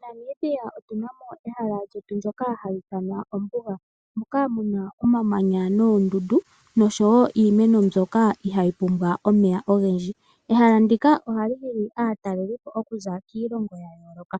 MoNamibia otuna ehala lyetu ndyoka hali ithanwa ombuga moka muna noondundu oshowo iimeno mbyoka ihayi pumbwa omeya ogendji. Ehala ndika ohali hili aatalelipo okuza kiilongo ya yooloka,